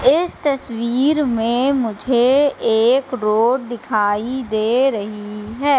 इस तस्वीर में मुझे एक रोड़ दिखाई दे रही है।